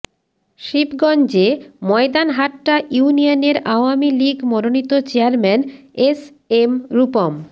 শিবগঞ্জে ময়দানহাট্টা ইউনিয়নের আওয়ামী লীগ মনোনীত চেয়ারম্যান এসএম রূপম